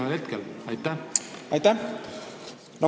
Aitäh!